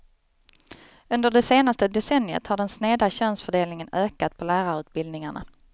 Under det senaste decenniet har den sneda könsfördelningen ökat på lärarutbildningarna.